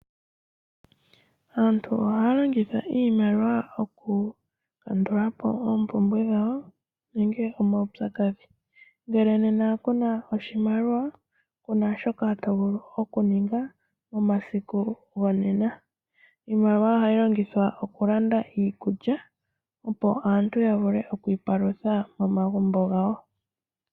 Aantu ohaya longitha iimaliwa okulandulapo oompumbwe nenge omawupyakadhi ngele nena kuna oshimaliwa kuna shoka tovulu okuninga momasiku gonena. Iimaliwa ohayi longithwa okulanda iikulya opo aantu yavule okwiipalitha momagumbo gawo.